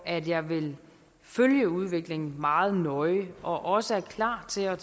at jeg vil følge udviklingen meget nøje og også er klar til at